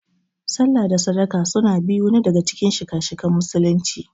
sallah da sadaka su biyun na daga Cikin shika - shikan musulunci.